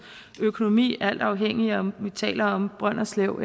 økonomi alt afhængig af om at vi taler om brønderslev